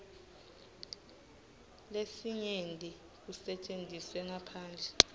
lesinyenti kusetjentiswe ngaphandle